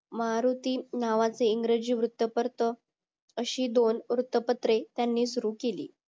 मारुत्री नावाचे इंग्रजि वृत्तपत्र अशी दोन वृत्तपत्रे त्यांनी सुरु केली